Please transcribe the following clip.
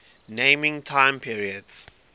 naming time periods